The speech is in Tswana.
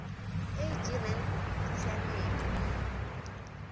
e e dirang ya ditshiamelo